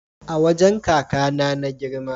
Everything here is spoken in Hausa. A wajan kakAna na girma